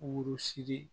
Wolosi